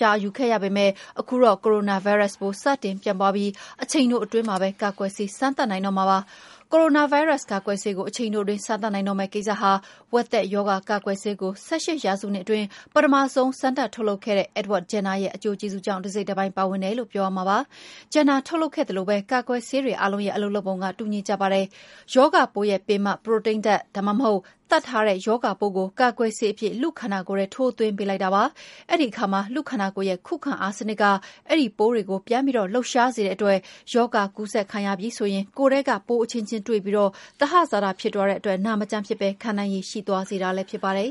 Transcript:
ကြာ ယူခဲ့ရပေမယ့် ခုတော့ ကိုရိုနာဗိုင်းရပ်စ် စတင်ပြန့်ပွားပြီး အချိန်တိုအတွင်းမှာပဲ ကာကွယ်ဆေး စမ်းသပ်နိုင်တော့မှာ ဖြစ်ပါတယ်။ ကိုရိုနာဗိုင်းရပ်စ် ကာကွယ်ဆေးကို အချိန်တိုအတွင်း စမ်းသပ်နိုင်တော့မယ့် ကိစ္စဟာ ဝက်သက်ရောဂါ ကာကွယ်ဆေးကို ၁၈ ရာစုနှစ်အတွင်း ပထမဆုံး ထုတ်လုပ်ခဲ့တဲ့ Edward Jenner ရဲ့ အကျိုးကျေးဇူးကြောင့်လည်း ပါတယ်လို့ ပြောရမှာဖြစ်ပါတယ်။ Jenner ထုတ်လုပ်ခဲ့သလိုပဲ ကာကွယ်ဆေးတွေအားလုံးရဲ့ အလုပ်လုပ်ပုံက တူညီကြပါတယ်။ ရောဂါပိုးရဲ့ ပင်မ ပရိုတိန်းဓာတ်၊ ဒါမှမဟုတ် သတ်ထားတဲ့ ရောဂါပိုးကို ကာကွယ်ဆေးအဖြစ် လူ့ခန္ဓာကိုယ်ထဲ ထိုးသွင်းပေးလိုက်တာပါ။ အဲဒီအခါမှာ လူ့ခန္ဓာကိုယ်ရဲ့ ခုခံအားစနစ်က အဲဒီပိုးတွေကို ပြန်ပြီး လှုပ်ရှားစေတဲ့အတွက် ရောဂါကူးစက်ခံရပြီဆိုရင် ကိုယ်ထဲက ပိုးအချင်းချင်း တွေ့ပြီး သဟဇာတ ဖြစ်သွားတဲ့အတွက် နာမကျန်းမဖြစ်ဘဲ ခံနိုင်ရည်ရှိသွားစေတာ ဖြစ်ပါတယ်